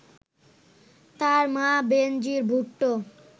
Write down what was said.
তাঁর মা বেনজির ভুট্টো